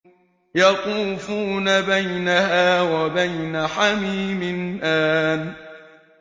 يَطُوفُونَ بَيْنَهَا وَبَيْنَ حَمِيمٍ آنٍ